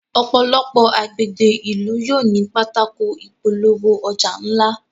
òpòlopò agbègbè ilú yóò ní Pátákó ìpolówó-ọjà ńlá